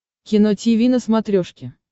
кино тиви на смотрешке